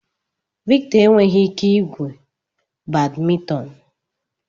Victor enweghị ike igwu badminton.